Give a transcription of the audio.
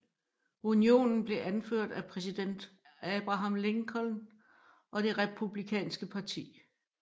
Unionen blev anført af præsident Abraham Lincoln og det Republikanske parti